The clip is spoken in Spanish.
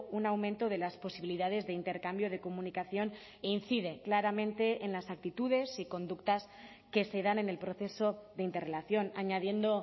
un aumento de las posibilidades de intercambio de comunicación e incide claramente en las actitudes y conductas que se dan en el proceso de interrelación añadiendo